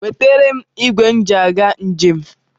Wetere m ịgwe m ji aga njem.